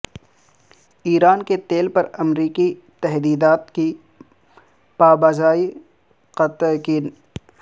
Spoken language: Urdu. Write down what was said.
ایران کے تیل پر امریکی تحدیدات کی پابجائی کا تیقن